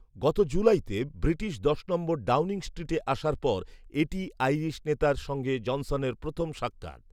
গত জুলাইতে ব্রিটিশ দশ নম্বর ডাউনিং স্ট্রিটে আসার পর এটিই আইরিশ নেতার সঙ্গে জনসনের প্রথম সাক্ষাৎ